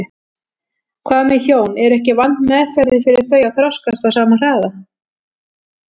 Hvað með hjón, er ekki vandmeðfarið fyrir þau að þroskast á sama hraða?